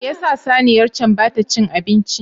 Me yasa saniyar can bata ci abinci ba?